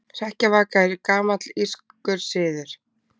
Hrekkjavaka er gamall írskur siður.